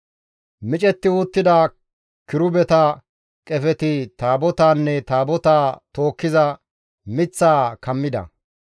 Micetti uttida kirubeta qefeti Taabotaanne Taabotaa tookkiza miththaa kammida.